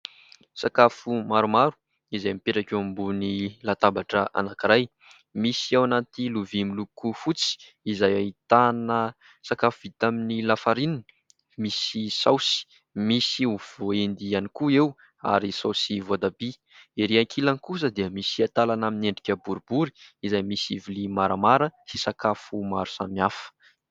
Sakafo maromaro izay mipetraka eo ambony latabatra anankiray. Misy ao anaty lovia miloko fotsy izay ahitana sakafo vita amin'ny lafarinina misy saosy. Misy ovy voaendy ihany koa eo ary saosy voatabia. Erỳ ankilany kosa dia misy antalana amin'ny endrika boribory izay misy vilia maramara sy sakafo maro samihafa.